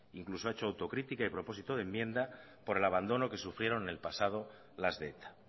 incluso ha hecho autocrítica y propósito de enmienda por el abandono que sufrieron en el pasado las de eta